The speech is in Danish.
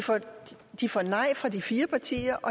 de får nej fra de fire partier og